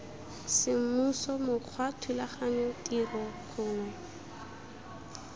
semmuso mokgwa thulaganyo tiro gongwe